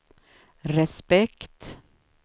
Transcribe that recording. respekt